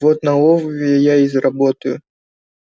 вот на олове я и заработаю